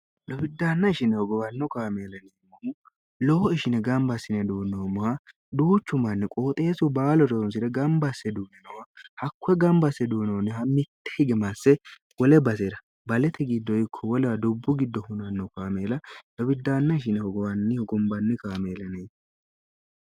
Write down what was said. lobiddaanna ishineho gowanno kaameeleniimmohu lowo ishine gamba issine duunnoommoha duuchu manni qooxeesu baalo reyonsi're gamba asse duuni nowa hakkuwe gamba asse duinoonniha mitte hige masse wole basera balete giddo ikko wolewa dubbu giddo hunanno kaameela lobiddaanna ishineho gowannihogombanni kaameelene